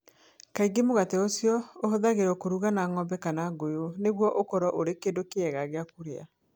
Kaingĩ mũgate ũcio ũhũthagĩrũo kũruga na ng'ombe kana ngũyũ nĩguo ũkorũo ũrĩ kĩndũ kĩega gĩa kũrĩa.